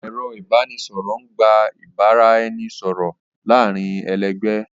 Ẹ̀rọ ìbánisọ̀rọ̀ ń gbà ìbára ẹni sọ̀rọ̀ láàárín ẹlẹgbẹ́